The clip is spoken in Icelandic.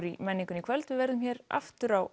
í menningunni í kvöld við verðum hér aftur á